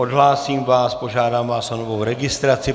Odhlásím vás, požádám vás o novou registraci.